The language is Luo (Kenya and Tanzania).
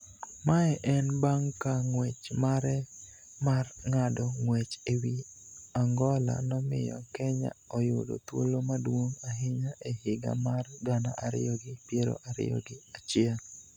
Mae en bang' ka ng'wech mare mar ng'ado ng'wech e wi Angola nomiyo Kenya oyudo thuolo maduong' ahinya e higa mar gana ariyi gi piero ariyo gi achiel